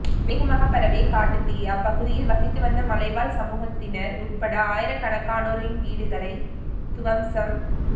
வேகமாக பரவிய காட்டுத்தீ அப்பகுதியில் வசித்து வந்த மலைவாழ் சமூகத்தினர் உட்பட ஆயிரக்கணக்கானோரின் வீடுகளை துவம்சம்